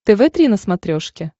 тв три на смотрешке